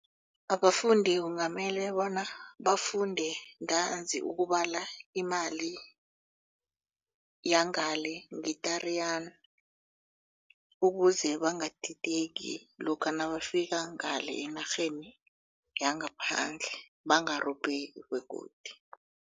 Abafundi kungamele bona bafunde ntanzi ukubala imali yangale nge-Tariyana ukuze bangadidedi lokha nabafika ngale enarheni yangaphandle bangarobheki begodi.